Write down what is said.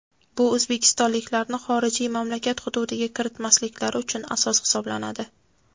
bu o‘zbekistonliklarni xorijiy mamlakat hududiga kiritilmasliklari uchun asos hisoblanadi.